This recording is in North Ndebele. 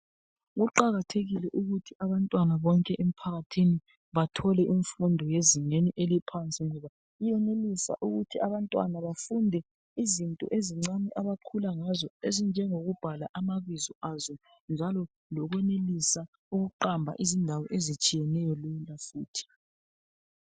Kuqakathekile ukuthi abantwana bonke emphakathini bathole imfundo yezingeni eliphansi ngoba iyenelisa ukuthi abantwana bafunde izinto ezincane abakhula ngazo ezinjengokubhala amabizo azo njalo lokwenelisa ukuqamba izindawo ezitshiyeneyo lula futhi.